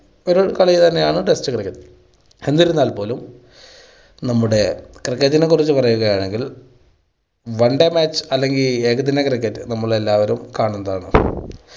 ഒരു കളി തന്നെയാണ് test cricket. എന്നിരുന്നാൽ പോലും നമ്മുടെ cricket നെ കുറിച്ച് പറയുകയാണെങ്കിൽ one day match അല്ലെങ്കിൽ ഏകദിന cricket നമ്മളെല്ലാവരും കാണുന്നതാണ്.